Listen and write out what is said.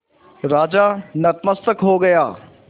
राजा नतमस्तक हो गया